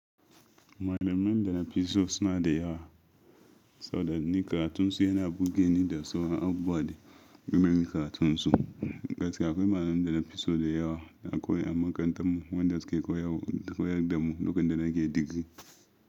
Malaman da na fi so suna da yawa, saboda ni karatunsu yana burge ni da sauran abubuwa da game da karatunsu. Gaskiya akwai malamai da na fi so da yawa na koyo a makarantarmu waɗanda suke koyar da mu lokacin da nake digiri.